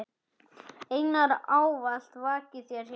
Englar ávallt vaki þér hjá.